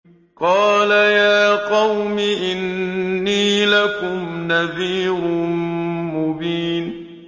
قَالَ يَا قَوْمِ إِنِّي لَكُمْ نَذِيرٌ مُّبِينٌ